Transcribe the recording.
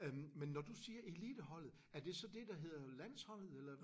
Øh men når du siger eliteholdet er det så det der hedder landsholdet eller?